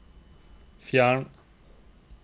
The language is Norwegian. fjern